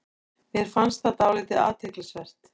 Mér fannst það dálítið athyglisvert